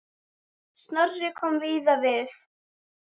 Snorri kom víða við.